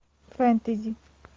фэнтези